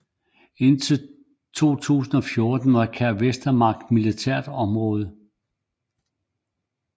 Indtil 2014 var Kær Vestermark militært område